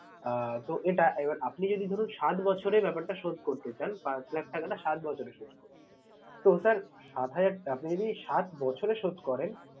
আহ তো এটা এবার আপনি যদি ধরুন সাত বছরে ব্যাপারটা শোধ করতে চান পাঁচ লাখ টাকাটা সাত বছরে শোধ করবেন। তো sir সাত আপনি যদি সাত বছরে শোধ করেন